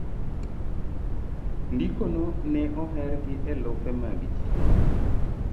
ndiko no ne oher gi elufe mag ji